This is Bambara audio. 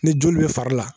Ni joli bɛ fari la